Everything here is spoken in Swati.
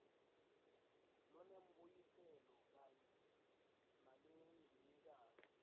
lonembuyiselo kanye nalogcinekako